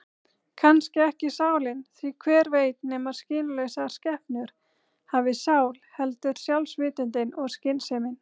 Kannski ekki sálin, því hver veit nema skynlausar skepnur hafi sál, heldur sjálfsvitundin og skynsemin.